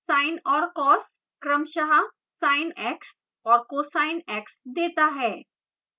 sin और cos क्रमशः sine x और cosine x देता है